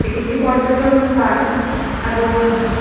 এটি একটি পর্যটন স্থান এবং--